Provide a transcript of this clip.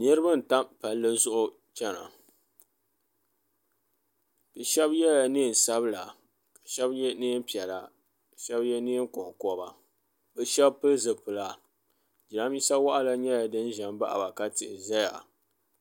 niriba n-tam palli zuɣu n-chana bɛ shɛba yela neen'sabila shɛba ye neem' piɛla shɛba ye neen' kɔŋkɔba bɛ shɛba pili zipila jirambisa waɣila nyɛla din ʒe m-baɣi ba ka tihi ʒeya